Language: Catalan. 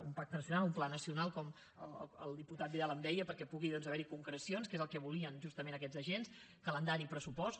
un pacte nacional un pla nacional com el diputat vidal em deia perquè pugui doncs haver hi concrecions que és el que volien justament aquests agents calendari i pressupost